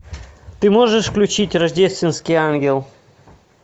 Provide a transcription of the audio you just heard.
ты можешь включить рождественский ангел